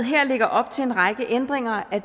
lægger op til en række ændringer af